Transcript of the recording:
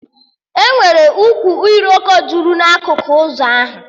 Enwere ukwu iroko jụrụ na akụkụ ụzọ ahụ